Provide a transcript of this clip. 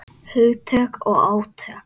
Hugtök og átök.